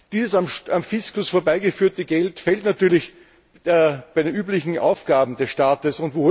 Dieses am Fiskus vorbeigeführte Geld fehlt natürlich bei den üblichen Aufgaben des Staates.